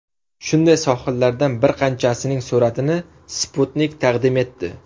Shunday sohillardan bir qanchasining suratini Sputnik taqdim etdi.